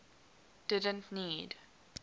didn t need